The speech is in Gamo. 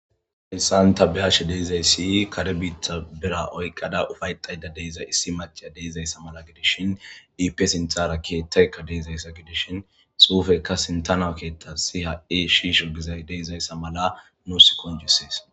hasan ta biyashe de'izay siy kare biitha bera oyqqada ufayxayda deiza issi maceya deizayssa mala gidishshin iipe sinthara keethtaykka deizayssa gidishshin xuufekka sintana keethta si ha7i shiisho gizay deizayssa mala nuus konjusees